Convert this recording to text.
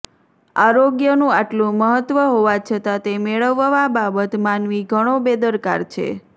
આરોગ્યનું આટલું મહત્વ હોવા છતા તે મેળવવા બાબત માનવી ઘણો બેદરકાર છે